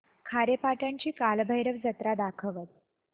खारेपाटण ची कालभैरव जत्रा दाखवच